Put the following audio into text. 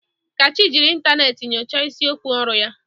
Kachi jiri ịntanetị nyochaa isiokwu ọrụ ya.